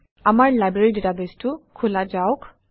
আমাৰ লাইব্ৰেৰী ডাটাবেছটো খোলা যাওক